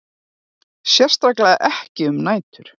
Sérstaklega ekki um nætur.